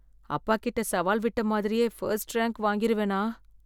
அப்பாகிட்ட சவால் விட்ட மாதிரியே ஃபர்ஸ்ட் ரேங்க் வாங்கிருவனா?